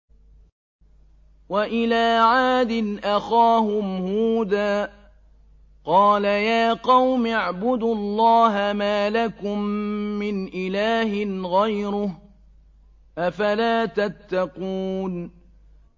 ۞ وَإِلَىٰ عَادٍ أَخَاهُمْ هُودًا ۗ قَالَ يَا قَوْمِ اعْبُدُوا اللَّهَ مَا لَكُم مِّنْ إِلَٰهٍ غَيْرُهُ ۚ أَفَلَا تَتَّقُونَ